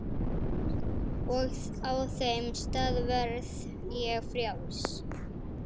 Og á þeim stað verð ég frjáls.